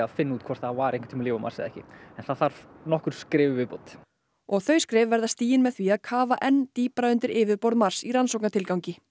hvort það var einhvern tímann líf á Mars eða ekki en það þarf nokkur skref í viðbót og þau skref verða stigin með því að kafa enn dýpra undir yfirborð Mars í rannsóknartilgangi